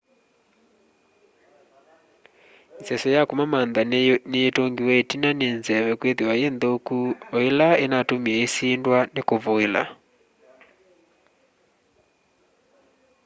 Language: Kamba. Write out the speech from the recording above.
iseso ya kumamantha ni yitungiwe itina ni nzeve kwithiwa yi nthuku o ila inatumie isindwa ni kuvuila